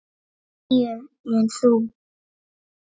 Níu, en þú?